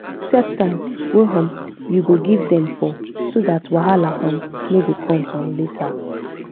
set time wa um u go give dem for so dat wahala um no go come um later